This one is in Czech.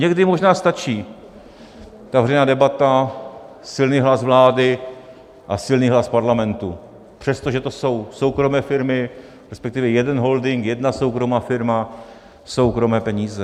Někdy možná stačí veřejná debata, silný hlas vlády a silný hlas Parlamentu, přestože to jsou soukromé firmy, respektive jeden holding, jedna soukromá firma, soukromé peníze.